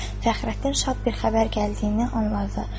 Fəxrəddin şad bir xəbər gəldiyini anladı.